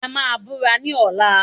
A máa búra ní ọ̀la